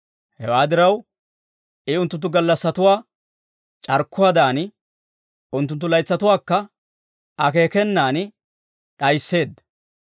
Hewaa diraw, I unttunttu gallassatuwaa c'arkkuwaadan, unttunttu laytsatuwaakka akeekenan d'ayisseedda.